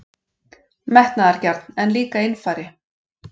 Metnaðargjarn, en líka einfari.